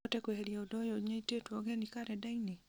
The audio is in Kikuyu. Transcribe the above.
no ũhote kweheria ũndũ ũyũ nyitĩtwo ũgeni karenda-inĩ